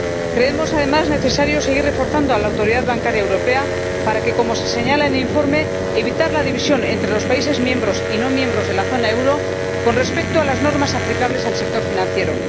Creemos, además, necesario seguir reforzando la Autoridad Bancaria Europea para evitar, como se señala en el informe, la división entre los países miembros y no miembros de la zona euro con respecto a las normas aplicables al sector financiero.